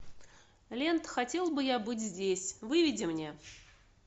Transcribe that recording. лента хотел бы я быть здесь выведи мне